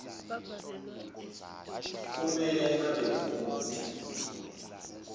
kumele abe ngumuntu